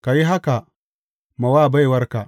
Ka yi haka ma wa baiwarka.